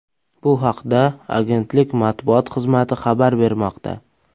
Bu haqda agentlik matbuot xizmati xabar bermoqda .